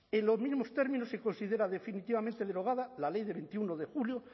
en los mismos términos se considera definitivamente derogada la ley de veintiuno de julio